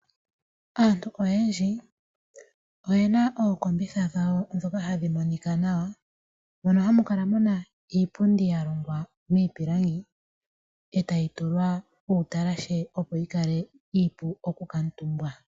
Aantu oyendji oyena ookombitha dhawo dhoka hadhi monika nawa mono hamu kala muna iipundi ya longwa miipilangi etayi tulwa uutalahe opo yi kale iipu oku kaatumbwa